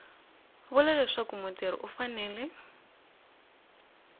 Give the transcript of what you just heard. vula leswaku mutirhi u fanele